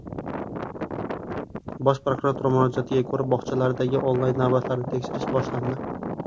Bosh prokuratura murojaatiga ko‘ra bog‘chalardagi onlayn navbatlarni tekshirish boshlandi.